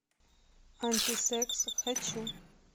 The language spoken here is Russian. антисекс хочу